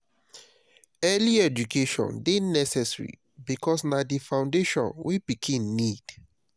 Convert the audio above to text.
early education de necessary because na di foundation wey pikin need